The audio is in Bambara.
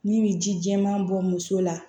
N'i bɛ ji jɛman bɔ muso la